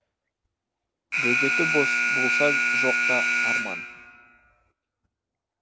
бөгеті болса жоқ та арман